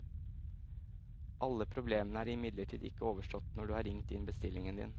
Alle problemene er imidlertid ikke overstått når du har ringt inn bestillingen din.